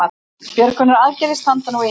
Björgunaraðgerðir standa nú yfir